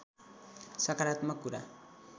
सकारात्मक कुरा